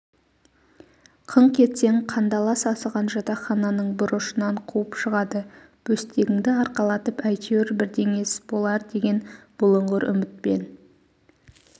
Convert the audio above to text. қыңқ етсең қандала сасыған жатақхананың бұрышынан қуып шығады бөстегіңді арқалатып әйтеуір бірдеңес болар деген бұлыңғыр үмітпен